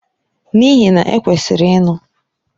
N'ihi na! E kwesịrị ịnụ.